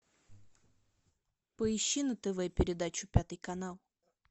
поищи на тв передачу пятый канал